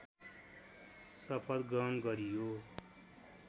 शपथ ग्रहण गरियो